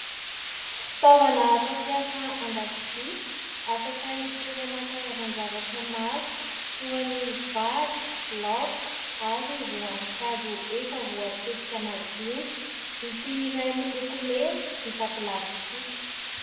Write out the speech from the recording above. Fitaovana fampiasa an-dakozia afaka hitoerana karazan-javatra maro toy ny vary, loaka ary voankazo efa voatetika madinika. ity iray miloko mena vita plastika.